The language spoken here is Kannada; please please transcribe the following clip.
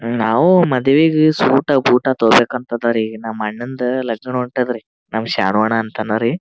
ನಾವು ಮದವಿಗ ಸೂಟ್ ಬೂಟ್ ತಗೋಬೇಕಂತ ಅದರೀ ನಮ್ ಅಣ್ಣನ್ಡ್ ಲಗ್ನ ಹೋಂಟದರಿ ನಮ್ ಶರಣು ಅಣ್ಣ ಅಂತ ಹನ ರೀ .